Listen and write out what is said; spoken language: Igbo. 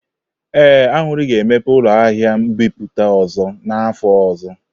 Ee, Aṅụri ga-emepe ụlọ ahịa mbipụta ọzọ n'afọ ọzọ.